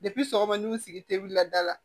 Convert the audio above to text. sɔgɔma ni u sigi te wuli la da la